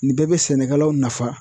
Nin bɛɛ bɛ sɛnɛkɛlaw nafa.